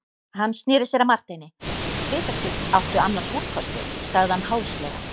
Hann sneri sér að Marteini:-Vitaskuld áttu annars úrkosti, sagði hann háðslega.